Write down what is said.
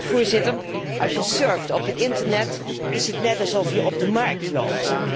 Want als je surft op het internet, is het net alsof je op de markt loopt.